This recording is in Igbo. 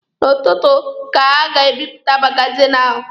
N'ụtụtụ ka ha ga-ebipụta magazini ahụ.